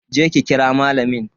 Je ki ki kira malamin.